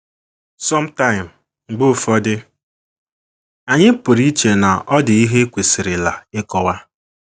some time, mgbe ụfọdụ, anyị pụrụ iche na ọ dị ihe e kwesịrịla ịkọwa.